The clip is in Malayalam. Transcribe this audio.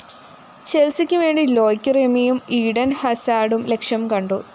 ചെല്‍സിക്കുവേണ്ടി ലോയ്ക് റെമിയും ഈഡന്‍ ഹസാര്‍ഡും ലക്ഷ്യംകണ്ടു